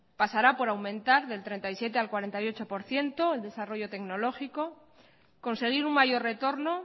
pasará por aumentar del treinta y siete al cuarenta y ocho por ciento el desarrollo tecnológico conseguir un mayor retorno